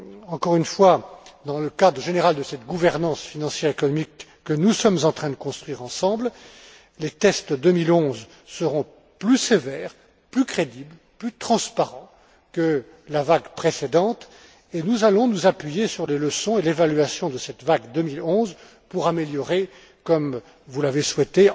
Encore une fois, dans le cadre général de cette gouvernance financière et économique que nous sommes en train de construire ensemble, les tests 2011 seront plus sévères, plus crédibles, plus transparents que la vague précédente, et nous allons nous appuyer sur les leçons et l'évaluation de cette vague 2011 pour améliorer encore, comme vous l'avez